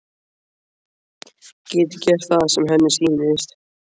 Geti gert það sem henni sýnist.